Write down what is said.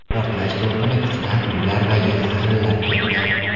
Portlash to‘lqini kuchidan uylar va yer zirillab ketgan.